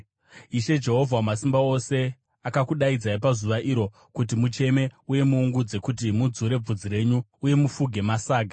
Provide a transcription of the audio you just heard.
Ishe, Jehovha Wamasimba Ose, akakudaidzai pazuva iro kuti mucheme uye muungudze, kuti mudzure bvudzi renyu uye mufuge masaga.